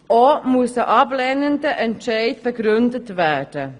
Auch muss ein ablehnender Entscheid begründet werden.